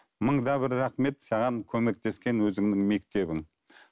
мыңда бір рахмет саған көмектескен өзіңнің мектебің